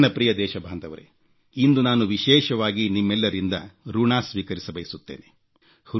ನನ್ನ ಪ್ರಿಯ ದೇಶಬಾಂಧವರೇ ಇಂದು ನಾನು ವಿಶೇಷವಾಗಿ ನಿಮ್ಮೆಲ್ಲರಿಂದ ಋಣ ಸ್ವೀಕರಿಸಬಯಸುತ್ತೇನೆ